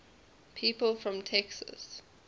people from texas